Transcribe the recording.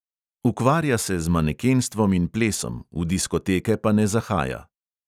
Ukvarja se z manekenstvom in plesom, v diskoteke pa ne zahaja.